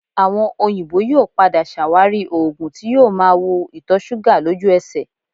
Àwọn òyìnbó yóò padà ṣàwárí oògùn tí yóò máa wo ìtọ̀ṣúgà lójú ẹsẹ̀